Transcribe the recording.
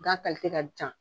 Gan ka ca